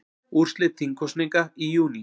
Úrslit þingkosninga í júní